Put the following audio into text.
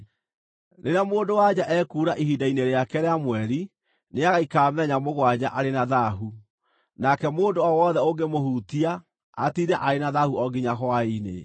“ ‘Rĩrĩa mũndũ-wa-nja ekuura ihinda-inĩ rĩake rĩa mweri, nĩagaikara mĩthenya mũgwanja arĩ na thaahu, nake mũndũ o wothe ũngĩmũhutia, atiinde arĩ na thaahu o nginya hwaĩ-inĩ.